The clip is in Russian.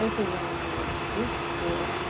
это я имела в виду что